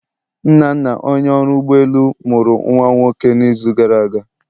Nnanna Onye ọrụ ụgbọ elu, mụrụ nwa nwoke n'izu gara aga.